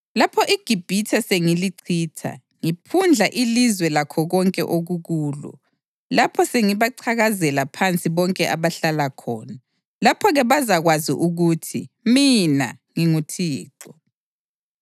Lapho iGibhithe sengilichitha ngiphundla ilizwe lakho konke okukulo, lapho sengibacakazela phansi bonke abahlala khona, lapho-ke bazakwazi ukuthi mina nginguThixo.’